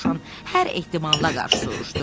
Dovşan hər ehtimala qarşı soruşdu.